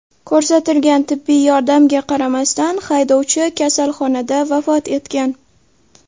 Ko‘rsatilgan tibbiy yordamga qaramasdan, haydovchi kasalxonada vafot etgan.